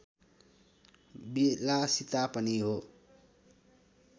विलासिता पनि हो